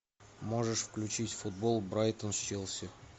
можешь включить футбол брайтон с челси